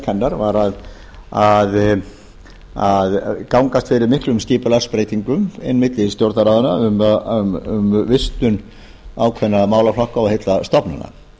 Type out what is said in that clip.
hennar að gangast fyrir miklum skipulagsbreytingum einmitt í stjórnarráðinu um vistun ákveðinna málaflokka og heilla stofnana